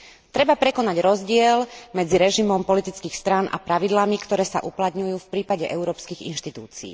Treba prekonať rozdiel medzi režimom politických strán a pravidlami, ktoré sa uplatňujú v prípade európskych inštitúcií.